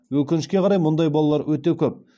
өкінішке қарай мұндай балалар өте көп